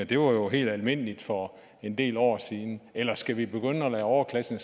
det var jo helt almindeligt for en del år siden eller skal vi lade overklassen